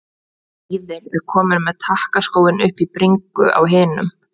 Víðir er kominn með takkaskóinn upp í bringu á hinum.